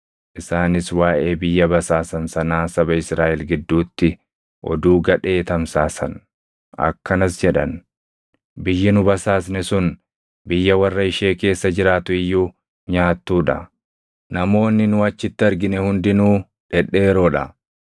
Isaanis waaʼee biyya basaasan sanaa saba Israaʼel gidduutti oduu gadhee tamsaasan. Akkanas jedhan; “Biyyi nu basaasne sun biyya warra ishee keessa jiraatu iyyuu nyaattuu dha. Namoonni nu achitti argine hundinuu dhedheeroo dha.